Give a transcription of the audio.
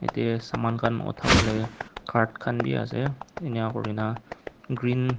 de saman khan uthawole cart khan bi ase inika kuri na green --